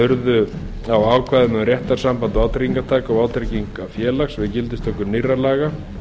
urðu á ákvæðum um réttarsamband vátryggingartaka og vátryggingafélags við gildistöku nýrra laga um